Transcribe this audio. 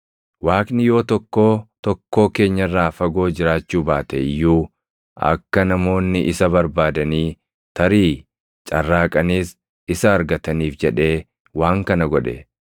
Waaqni yoo tokkoo tokkoo keenya irraa fagoo jiraachuu baate iyyuu akka namoonni isa barbaadanii, tarii carraaqaniis isa argataniif jedhee waan kana godhe.